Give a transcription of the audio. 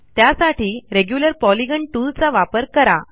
त्यासाठी regular polygon tool चा वापर करा